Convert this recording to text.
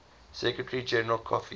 secretary general kofi